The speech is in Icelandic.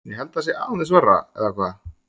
Ég held að það sé aðeins verra, eða hvað?